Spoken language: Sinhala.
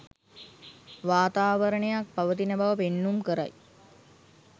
වාතාවරණයක් පවතින බව පෙන්නුම් කරයි.